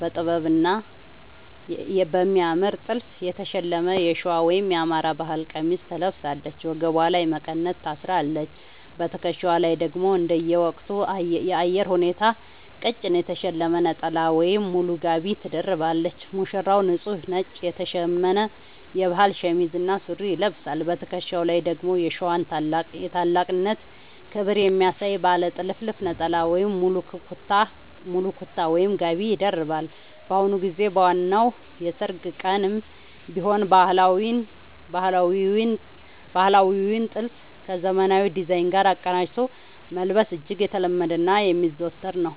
በጥበብና በሚያምር ጥልፍ የተሸለመ የሸዋ (የአማራ) ባህል ቀሚስ ትለብሳለች። ወገቧ ላይ መቀነት ታስራለች: በትከሻዋ ላይ ደግሞ እንደየወቅቱ የአየር ሁኔታ ቀጭን የተሸለመ ነጠላ ወይም ሙሉ ጋቢ ትደርባለች። ሙሽራው፦ ንጹህ ነጭ የተሸመነ የባህል ሸሚዝ እና ሱሪ ይለብሳል። በትከሻው ላይ ደግሞ የሸዋን ታላቅነትና ክብር የሚያሳይ ባለ ጥልፍ ነጠላ ወይም ሙሉ ኩታ (ጋቢ) ይደርባል። በአሁኑ ጊዜ በዋናው የሠርግ ቀንም ቢሆን ባህላዊውን ጥልፍ ከዘመናዊ ዲዛይን ጋር አቀናጅቶ መልበስ እጅግ የተለመደና የሚዘወተር ነው።